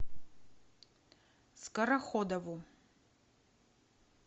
скороходову